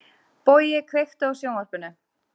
Bogi, kveiktu á sjónvarpinu.